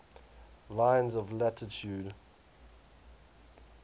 lines of latitude